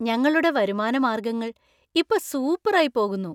ഞങ്ങളുടെ വരുമാന മാർഗങ്ങൾ ഇപ്പൊ സൂപ്പറായി പോകുന്നു.